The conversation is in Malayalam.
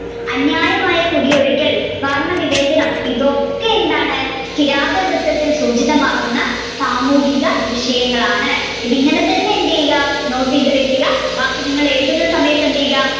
അന്യായമായ കുടിയൊഴിക്കൽ, വർണവിവേചനം ഇതൊക്കെ എന്താണ് കിരാതവൃത്തത്തിൽ സൂചിതമാകുന്ന സാമൂഹിക വിഷയങ്ങളാണ്. ഇങ്ങനെ തന്നെ എന്ത്ചെയ്യുക നോട്ട് ചെയ്തു വെക്കുക ബാക്കി നിങ്ങൾ എഴുതുന്ന സമയത്ത്‌ എന്ത് ചെയ്യുക